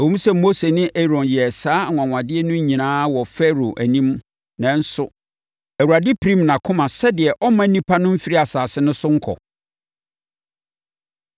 Ɛwom sɛ Mose ne Aaron yɛɛ saa anwanwadeɛ no nyinaa wɔ Farao anim nanso Awurade pirim nʼakoma sɛdeɛ ɔremma nnipa no mfiri asase no so nkɔ.